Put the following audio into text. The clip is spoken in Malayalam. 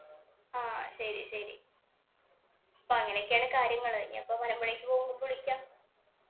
ആഹ് ശരി, ശരി. അപ്പൊ അങ്ങനെയൊക്കെയാണ് കാര്യങ്ങള്. ഇനി ഇപ്പൊ മലമ്പുഴക്ക് പോകുമ്പോ വിളിക്കാം.